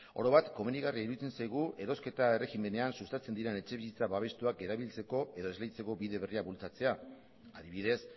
oro bat komenigarria iruditzen zaigu erosketa erregimenean sustatzen diren etxebizitza babestuak erabiltzeko edo esleitzeko bide berriak bultzatzea adibidez